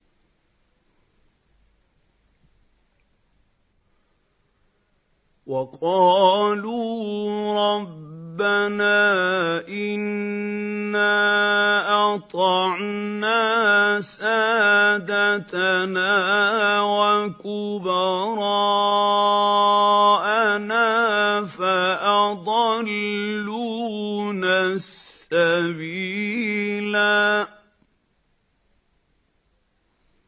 وَقَالُوا رَبَّنَا إِنَّا أَطَعْنَا سَادَتَنَا وَكُبَرَاءَنَا فَأَضَلُّونَا السَّبِيلَا